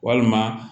Walima